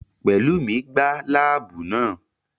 Pelumi gbá láàbù náà